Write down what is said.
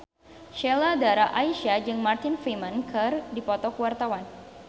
Sheila Dara Aisha jeung Martin Freeman keur dipoto ku wartawan